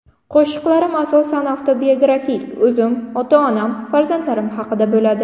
Qo‘shiqlarim asosan avtobiografik: o‘zim, ota-onam, farzandlarim haqida bo‘ladi.